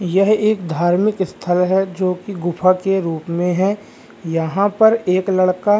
यह एक धार्मिक स्थल है। जो की गुफा के रूप में है यहाँ पर एक लड़का --